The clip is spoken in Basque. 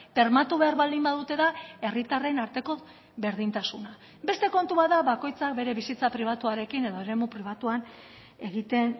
bermatu behar baldin badute da herritarren arteko berdintasuna beste kontu bat da bakoitzak bere bizitza pribatuarekin edo eremu pribatuan egiten